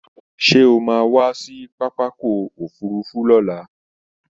Sé o máa wá sí pápákọ̀ òfurufú lọ́la?